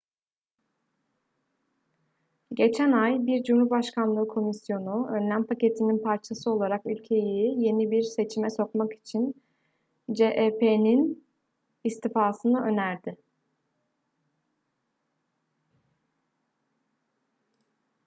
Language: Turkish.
geçen ay bir cumhurbaşkanlığı komisyonu önlem paketinin parçası olarak ülkeyi yeni bir seçime sokmak için cep'in istifasını önerdi